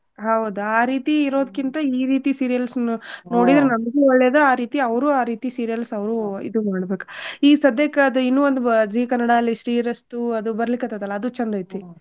ಹೌದ ಆ ರೀತಿ ಇರೋದ್ಕಿಂತ ಈ ರೀತಿ serials ನ ನೋಡಿದ್ರ ನಮ್ಗು ಒಳ್ಳೇದ ಆರೀತಿ ಅವ್ರು ಆರೀತಿ serials ಅವ್ರು ಇದು ಮಾಡ್ಬೇಕ. ಈಗ್ ಸಧ್ಯಕ್ಕ ಅದ್ ಇನ್ನು ಒಂದ್ Zee ಕನ್ನಡಾಲ್ಲಿ ಶ್ರೀರಸ್ತು ಅದು ಬರ್ಲಿಕತ್ತದಲ್ಲ ಅದು ಚಂದ ಐತಿ.